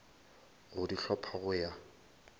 go di hlopha go ya